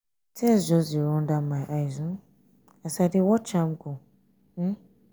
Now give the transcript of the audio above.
tears just dey run down my eyes um as i dey watch am um go.